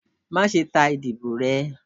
Maṣe ta idibo rẹ!